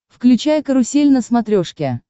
включай карусель на смотрешке